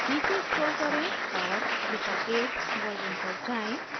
नीचे scroll करें और drupal 8 version पर जाएँ